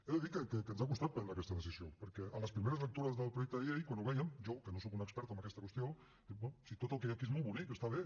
he de dir que ens ha costat prendre aquesta decisió perquè a les primeres lectures del projecte de llei quan ho vèiem jo que no sóc un expert en aquesta qüestió dic bé si tot el que hi ha aquí és molt bonic està bé